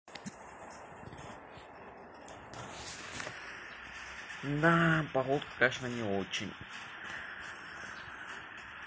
да погодка конечно не очень